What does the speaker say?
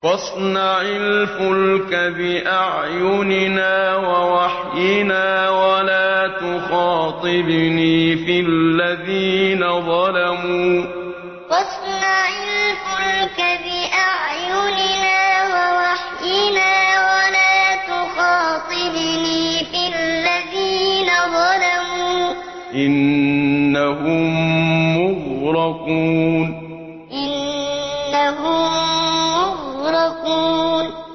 وَاصْنَعِ الْفُلْكَ بِأَعْيُنِنَا وَوَحْيِنَا وَلَا تُخَاطِبْنِي فِي الَّذِينَ ظَلَمُوا ۚ إِنَّهُم مُّغْرَقُونَ وَاصْنَعِ الْفُلْكَ بِأَعْيُنِنَا وَوَحْيِنَا وَلَا تُخَاطِبْنِي فِي الَّذِينَ ظَلَمُوا ۚ إِنَّهُم مُّغْرَقُونَ